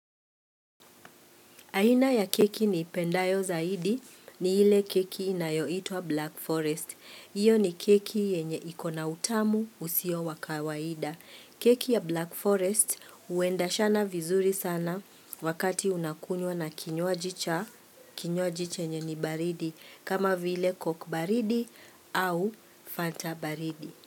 Aina ya keki niipendayo zaidi ni ile keki inayoitwa "Black Forest". Iyo ni keki yenye iko na utamu usio wa kawaida. Keki ya Black Forest uendeshana vizuri sana wakati unakunywa na kinywaji chenye ni baridi kama vile coke baridi au fanta baridi.